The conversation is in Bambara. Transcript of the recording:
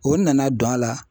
O nana don a la.